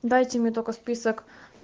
дайте мне только список